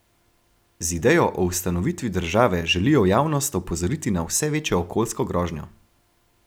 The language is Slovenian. Z idejo o ustanovitvi države želijo javnost opozoriti na vse večjo okoljsko grožnjo.